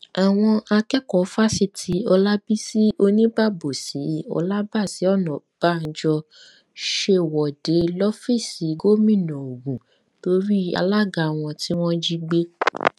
àwọn akẹkọọ fáṣítì ọlábiṣì oníbàbòsì olábàṣì ònàbànjọ ṣèwọde lọfíìsì gómìnà ogun torí alága wọn tí wọn jí gbé